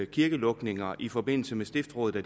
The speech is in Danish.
kirkelukninger i forbindelse med stiftsrådene